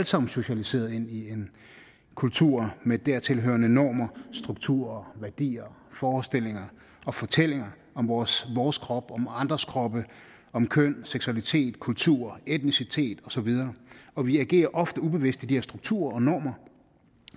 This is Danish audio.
sammen socialiseret ind i en kultur med dertil hørende normer strukturer værdier forestillinger og fortællinger om vores vores krop om andres kroppe om køn seksualitet kultur etnicitet og så videre og vi agerer ofte ubevidst i de her strukturer og normer